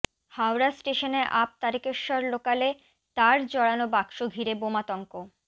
হাওড়া স্টেশনে আপ তারকেশ্বর লোকালে তার জড়ানো বাক্স ঘিরে বোমাতঙ্ক